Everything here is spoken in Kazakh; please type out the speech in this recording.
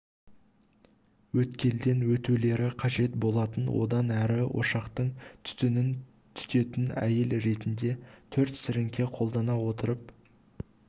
өткелден өтулері қажет болатын одан әрі ошақтың түтінін түтететін әйел ретінде төрт сіріңке қолдана отырып